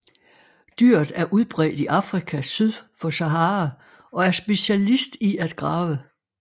Dyret er udbredt i Afrika syd for Sahara og er specialist i at grave